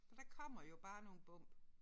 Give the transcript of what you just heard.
Og der kommer jo bare nogle bump